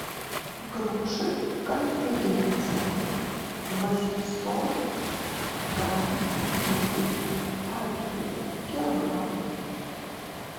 груши конференция восемьсот грамм или один килограмм